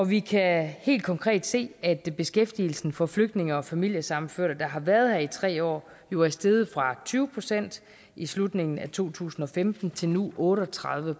vi kan helt konkret se at at beskæftigelsen for flygtninge og familiesammenførte der har været her i tre år jo er steget fra tyve procent i slutningen af to tusind og femten til nu otte og tredive